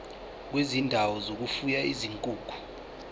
kwezindawo zokufuya izinkukhu